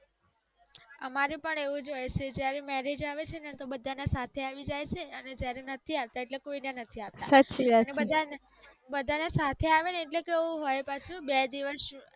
અમારે પણ એવું જ હોય છે જ્યારે marriage આવે છે ને તો બધા ના સાથે આવી જાય છે અને જ્યારે નથી આવતા ઍટલે કોઈ ના નથી આવતા અને અને બધા ના સાથે આવે ને ઍટલે કેવું હોય પાછું બે દિવસ